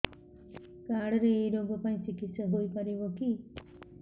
card ରେ ଏଇ ରୋଗ ପାଇଁ ଚିକିତ୍ସା ହେଇପାରିବ କି